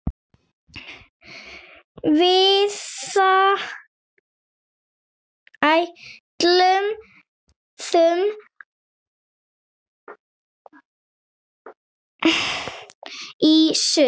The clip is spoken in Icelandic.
Við ætluðum í sund.